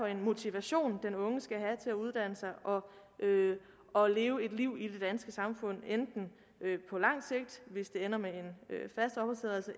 en motivation den unge skal have til at uddanne sig og og leve et liv i det danske samfund enten på lang sigt hvis det ender med